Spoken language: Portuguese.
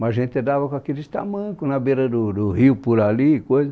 Mas a gente andava com aqueles tamancos na beira do do rio, por ali, coisa.